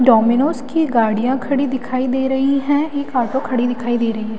Domino's की गाड़ियां खड़ी दिखाई दे रही है एक ऑटो खड़ी दिखाई दे रही है।